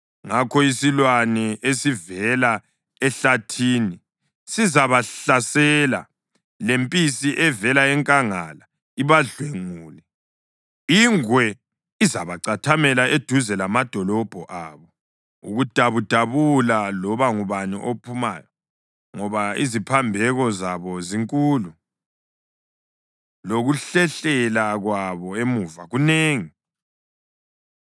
Ngakho isilwane esivela ehlathini sizabahlasela, lempisi evela enkangala ibadlwengule, ingwe izabacathamela eduze lamadolobho abo ukudabudabula loba ngubani ophumayo, ngoba iziphambeko zabo zinkulu, lokuhlehlela kwabo emuva kunengi.